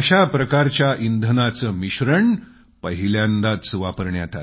अशा प्रकारच्या इंधनाचं मिश्रण पहिल्यांदाच वापरण्यात आलं